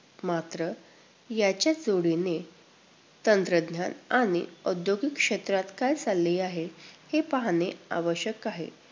मात्र याच्या जोडीने तंत्रज्ञान आणि औद्योगिक क्षेत्रात काय चालले आहे, हे पाहणे आवश्यक आहे.